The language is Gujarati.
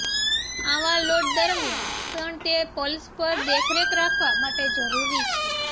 આવા લોડ દરમ્યાન પણ તે પલ્સ પર દેખરેખ રાખવા માટે જરૂરી છે